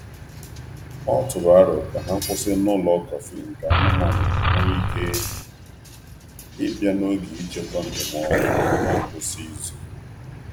Ọ tụrụ aro ebe kọfị dị mma um maka anụ ụlọ um n’oge njem otu na ngwụsị izu. um